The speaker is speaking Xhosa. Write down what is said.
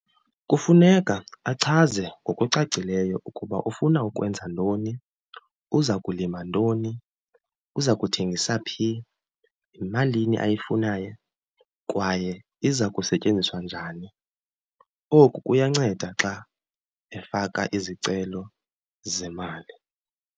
Kufuneka achaze ngokucacileyo ukuba ufuna ukwenza ntoni, uza kulima ntoni, uza kuthengisa phi, yimalini ayifunayo, kwaye iza kusetyenziswa njani. Oku kuyanceda xa efaka izicelo zemali.